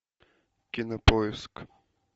кинопоиск